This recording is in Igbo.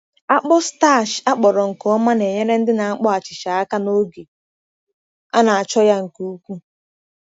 Akpụ starch akpọrọ nke ọma na-enyere ndị na-akpọ achịcha aka n’oge a na-achọ ya nke ukwuu.